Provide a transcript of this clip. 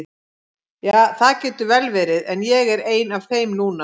Ja, það getur vel verið, en ég er ein af þeim núna.